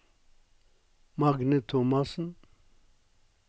Magne Thomassen